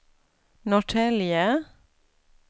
Norrtälje